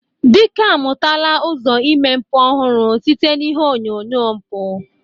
Dike amụtala ụzọ ime mpụ ọhụrụ site na ihe onyonyo mpụ.